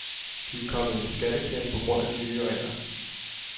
De er kommet i en skatteklemme på grund af de nye regler.